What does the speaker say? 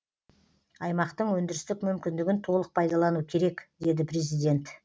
аймақтың өндірістік мүмкіндігін толық пайдалану керек деді президент